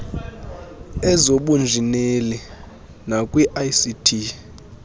ezobunjineli nakwi ict